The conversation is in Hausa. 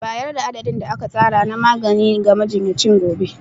Bayar da adadin da aka tsara na magani ga majinyacin gobe.